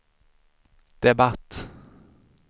debatt